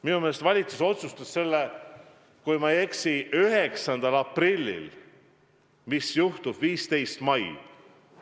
Minu meelest valitsus otsustas selle, kui ma ei eksi, 9. aprillil, mis juhtub 15. mail.